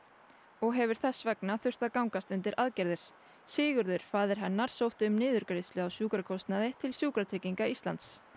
og hefur þess vegna þurft að gangast undir aðgerðir Sigurður faðir hennar sótti um niðurgreiðslu á sjúkrakostnaði til Sjúkratrygginga Íslands